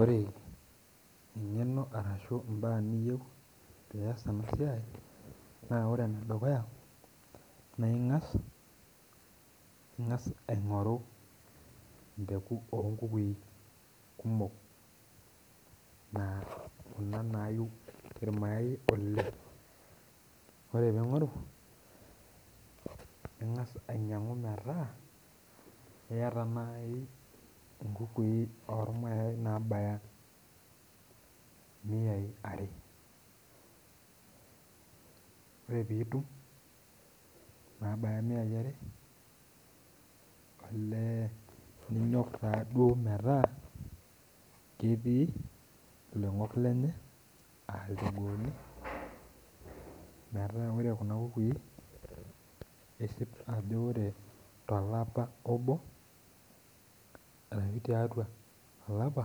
Ore eng'eno arashu imbaa niyieu pias enasiai, naa ore enedukuya na ing'as aing'oru impeku onkukui kumok naa kuna nayu irmayai oleng. Ore ping'oru, ning'as ainyang'u metaa iyata nai inkukui ormayai nabaya imiyai are. Ore pitum, nabaya miayai are, olee ninyok taduo metaa ketii iloing'ok lenye ah ilchogooni, metaa ore kuna kukui isip ajo ore tolapa obo, arashu tiatua olapa,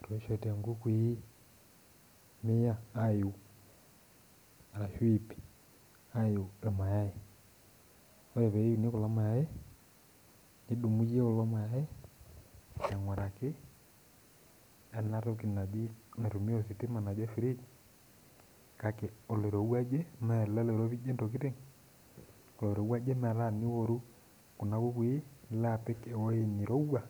etoishote nkukui mia ayu arashu ip ayu irmayai. Ore peini kulo mayai, nidumu yie kulo mayai aing'uraki enatoki naji naitumia oshi ositima naji fridge, kake oloirowuaje mele loiropijie ntokiting, oloirowuaje metaa teniworu kuna kukui, nilo apik ewoi nirowua